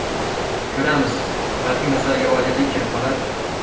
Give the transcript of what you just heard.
Ko‘ramiz, balki masalaga oydinlik kirib qolar...